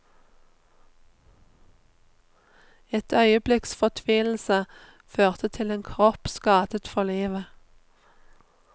Et øyeblikks fortvilelse førte til en kropp skadet for livet.